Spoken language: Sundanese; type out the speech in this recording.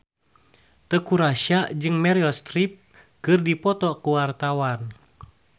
Teuku Rassya jeung Meryl Streep keur dipoto ku wartawan